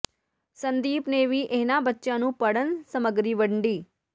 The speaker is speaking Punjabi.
ਸੰਦੀਪ ਨੇ ਵੀ ਇਨ੍ਹਾਂ ਬੱਚਿਆਂ ਨੂੰ ਪੜ੍ਹਨ ਸਮੱਗਰੀ ਵੱਡੀ